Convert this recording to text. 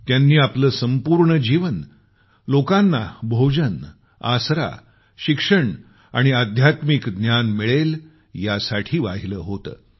त्यांनी आपलं संपूर्ण जीवन लोकांना भोजन आसरा शिक्षण आणि अध्यात्मिक ज्ञान मिळेल यासाठी वाहिलं होतं